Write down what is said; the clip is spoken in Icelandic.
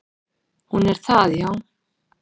"""Hún er það, já."""